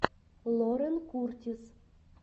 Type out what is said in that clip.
лорен куртис